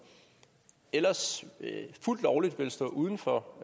ellers fuldt lovligt ville stå uden for